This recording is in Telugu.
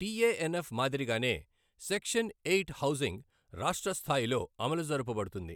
టీఏఎన్ఎఫ్ మాదిరిగానే సెక్షన్ ఎయిట్ హౌసింగ్ రాష్ట్ర స్థాయిలో అమలు జరుపబడుతుంది.